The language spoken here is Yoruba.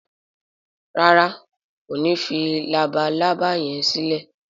ràrá kò ní fí Labalábá yén silẹ?